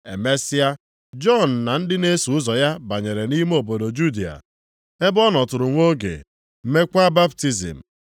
Emesịa, Jisọs na ndị na-eso ụzọ ya banyere nʼime obodo Judịa, ebe ọ nọtụrụ nwa oge, meekwa baptizim.